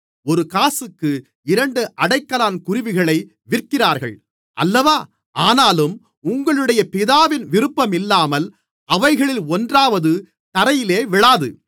ஒரு காசுக்கு இரண்டு அடைக்கலான் குருவிகளை விற்கிறார்கள் அல்லவா ஆனாலும் உங்களுடைய பிதாவின் விருப்பமில்லாமல் அவைகளில் ஒன்றாவது தரையிலே விழாது